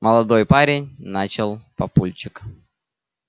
молодой парень начал папульчик